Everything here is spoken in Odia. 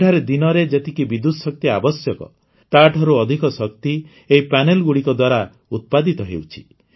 ଏଠାରେ ଦିନରେ ଯେତିକି ବିଦ୍ୟୁତ ଶକ୍ତି ଆବଶ୍ୟକ ତାଠାରୁ ଅଧିକ ଶକ୍ତି ଏହି ପ୍ୟାନେଲଗୁଡ଼ିକ ଦ୍ୱାରା ଉତ୍ପାଦିତ ହେଉଛି